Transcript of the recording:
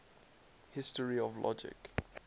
history of logic